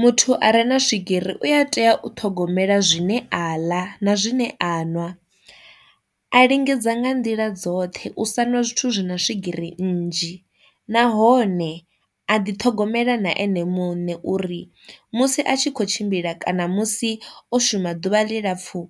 Muthu a re na swigiri u a tea u ṱhogomela zwine a ḽa na zwine aṅwa, a lingedza nga nḓila dzoṱhe u sa ṅwa zwithu zwi na swigiri nnzhi nahone a ḓi ṱhogomela na ene muṋe uri musi a tshi kho tshimbila kana musi o shuma ḓuvha ḽilapfu